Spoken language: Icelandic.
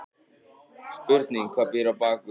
Spurning hvað býr á bakvið?!